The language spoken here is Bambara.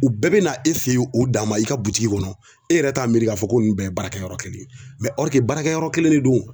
U bɛɛ bɛ na e fɛ yen u dan ma i ka butigi kɔnɔ e yɛrɛ t'a miiri k'a fɔ ko nin bɛɛ ye baarakɛyɔrɔ kelen ye baarakɛ yɔrɔ kelen de don.